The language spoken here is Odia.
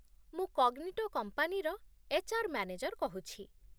ମୁଁ କଗ୍ନିଟୋ କମ୍ପାନୀର ଏଚ୍.ଆର୍. ମ୍ୟାନେଜର କହୁଛି